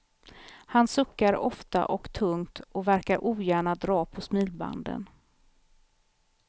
Han suckar ofta och tungt och verkar ogärna dra på smilbanden.